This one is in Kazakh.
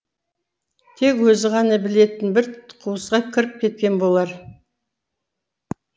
тек өзі ғана білетін бір қуысқа кіріп кеткен болар